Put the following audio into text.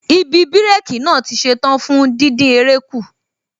Ibi bírékī naa tí ṣetán fún díndín eré kù